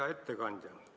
Hea ettekandja!